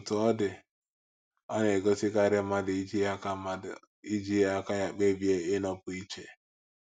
Otú ọ dị, ọ na - egosikarị mmadụ iji aka mmadụ iji aka ya kpebie ịnọpụ iche. ’